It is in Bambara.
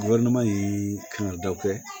kan ka da o kɛ